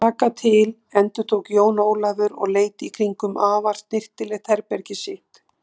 Taka til endurtók Jón Ólafur og leit í kringum afar snyrtilegt herbergið sitt.